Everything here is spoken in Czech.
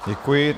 Děkuji.